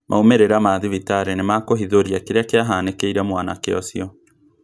Maumĩrĩra ma thibitarĩ nĩmakũhithũria kĩrĩa kīahanĩkĩire mwanake ũcio